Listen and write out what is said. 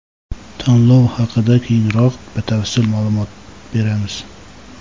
Tanlov haqida keyinroq batafsil ma’lumot beramiz.